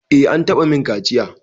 Eh an taɓa min kaciya.